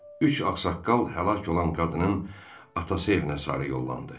Üç ağsaqqal həlak olan qadının atası evinə sarı yollandı.